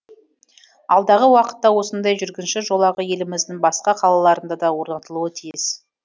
алдағы уақытта осындай жүргінші жолағы еліміздің басқа қалаларында да орнатылуы тиіс